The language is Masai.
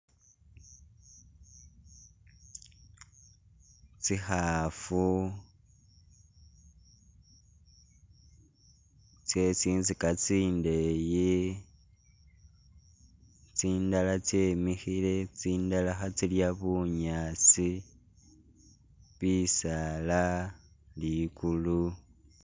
Tsi khafu tse tsintsika tsindeeyi tsindala tsemikhile tsindala khetsilya bunyaasi bisaala ligulu.